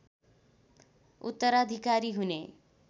उत्तराधिकारी हुने